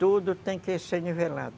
Tudo tem que ser nivelado.